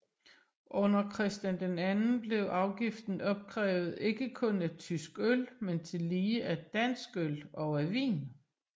Under Christian II blev afgiften opkrævet ikke kun af tysk øl men tillige af dansk øl og af vin